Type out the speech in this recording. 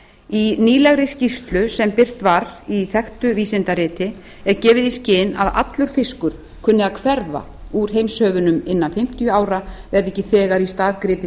í nýlegri skýrslu sem birt var í þekktu vísindariti er gefið í skyn að allur fiskur kunni að hverfa úr heimshöfunum innan fimmtíu ára verði ekki þegar í stað gripið